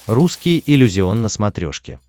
русский иллюзион на смотрешке